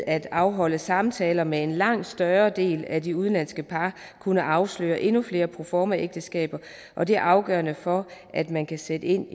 at afholde samtaler med en langt større del af de udenlandske par kunne afsløre endnu flere proformaægteskaber og det er afgørende for at man kan sætte ind